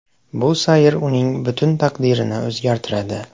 Bu sayr uning butun taqdirini o‘zgartiradi.